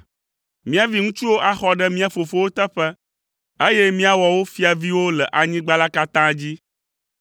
Mía viŋutsuwo axɔ ɖe mía fofowo teƒe, eye míawɔ wo fiaviwo le anyigba la katã dzi.